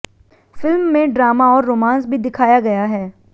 film में drama और romance भी दिखाया गया है